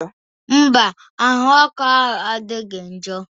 Mba, ahụ ọkụ adịghị njọ